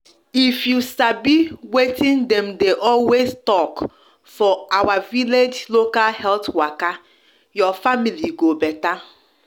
if you sabi watin dem de always talk for our village local health waka your family go beta